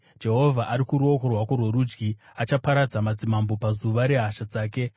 Jehovha ari kuruoko rwako rworudyi; achaparadza madzimambo pazuva rehasha dzake.